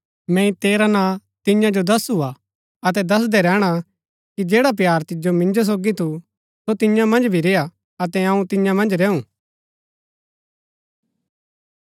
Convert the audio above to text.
मैंई तेरा नां तियां जो दसु हा अतै दसदै रैहणा कि जैडा प्‍यार तिजो मिन्जो सोगी थू सो तियां मन्ज भी रेय्आ अतै अऊँ तियां मन्ज रैऊ